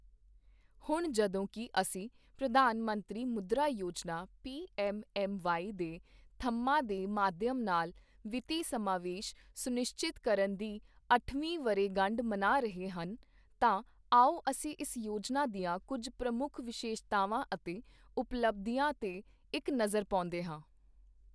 ਹੁਣ ਜਦੋਂਕਿ ਅਸੀਂ ਪ੍ਰਧਾਨ ਮੰਤਰੀ ਮੁਦ੍ਰਾ ਯੋਜਨਾ ਪੀਐੱਮਐੱਮਵਾਈ ਦੇ ਥੰਮ੍ਹਾਂ ਦੇ ਮਾਧਿਅਮ ਨਾਲ ਵਿੱਤੀ ਸਮਾਵੇਸ਼ ਸੁਨਿਸ਼ਚਿਤ ਕਰਨ ਦੀ ਅੱਠਵੀਂ ਵਰ੍ਹੇਗੰਢ ਮਨਾ ਰਹੇ ਹਨ, ਤਾਂ ਆਓ ਅਸੀਂ ਇਸ ਯੋਜਨਾ ਦੀਆਂ ਕੁੱਝ ਪ੍ਰਮੁੱਖ ਵਿਸ਼ੇਸ਼ਤਾਵਾਂ ਅਤੇ ਉਪਲਬਧੀਆਂ ਤੇ ਇੱਕ ਨਜ਼ਰ ਪਾਉਂਦੇ ਹਾਂ